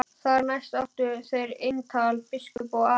Þar næst áttu þeir eintal biskup og Ari.